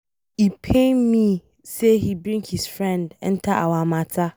E pain me say he bring his friend enter our matter.